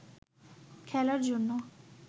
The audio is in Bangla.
খেলার জন্য